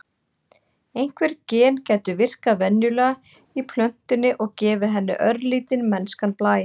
Einhver gen gætu virkað venjulega í plöntunni og gefið henni örlítinn mennskan blæ.